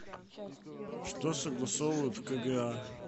что согласовывают в кга